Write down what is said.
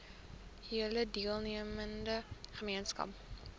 hele deelnemende gemeenskap